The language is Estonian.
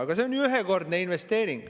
Aga see on ju ühekordne investeering.